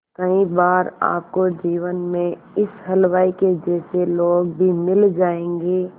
कई बार आपको जीवन में इस हलवाई के जैसे लोग भी मिल जाएंगे